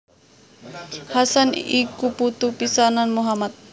Hasan iku putu pisanan Muhammad